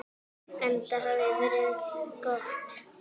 Enda hafi veðrið verið gott.